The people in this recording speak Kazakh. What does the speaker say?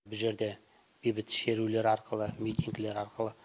бұл жерде бейбіт шерулер арқылы митингілер арқылы